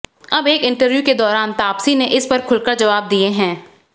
अब एक इंटरव्यू के दौरान तापसी ने इस पर खुलकर जवाब दिए हैं